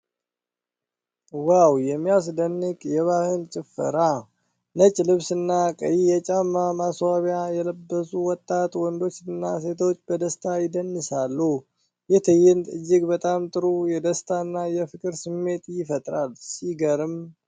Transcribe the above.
ዋው! የሚያስደንቅ የባህል ጭፈራ! ነጭ ልብስና ቀይ የጫፍ ማስዋቢያ የለበሱ ወጣት ወንዶችና ሴቶች በደስታ ይደንሳሉ። ይህ ትዕይንት እጅግ በጣም ጥሩ የደስታና የፍቅር ስሜት ይፈጥራል። ሲገርም!